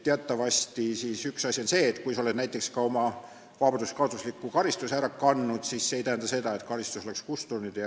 Teatavasti, kui sa oled näiteks ka oma vabaduskaotusliku karistuse ära kandnud, siis see ei tähenda seda, et karistus oleks kustunud.